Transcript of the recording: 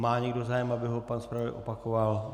Má někdo zájem, aby ho pan zpravodaj zopakoval?